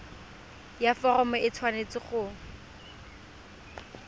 ya foromo e tshwanetse go